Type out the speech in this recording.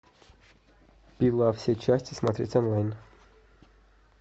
пила все части смотреть онлайн